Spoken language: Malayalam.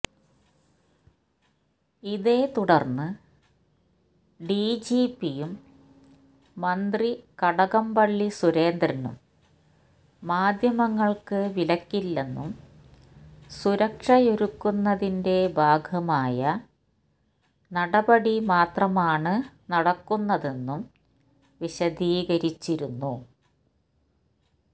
ഇതേ തുടര്ന്ന് ഡിജിപിയും മന്ത്രി കടകംപള്ളി സുരേന്ദ്രനും മാധ്യമങ്ങള്ക്ക് വിലക്കില്ലെന്നും സുരക്ഷയൊരുക്കുന്നതിന്റെ ഭാഗമായ നടപടിമാത്രമാണ് നടക്കുന്നതെന്നും വിശദീകരിച്ചിരുന്നു